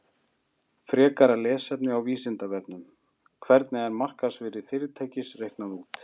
Frekara lesefni á Vísindavefnum: Hvernig er markaðsvirði fyrirtækis reiknað út?